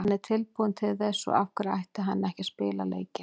Hann er tilbúinn til þess, svo af hverju ætti hann ekki að spila leikinn?